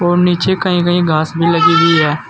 और नीचे कहीं कहीं घास भी लगी हुई है।